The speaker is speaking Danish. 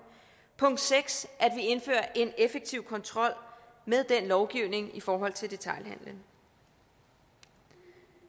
og 6 at en effektiv kontrol med den lovgivning i forhold til detailhandelen det